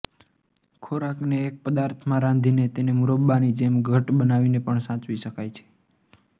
ખોરાકને એક પદાર્થમાં રાંધીને તેને મુરબ્બાની જેમ ઘટ્ટ બનાવીને પણ સાચવી શકાય છે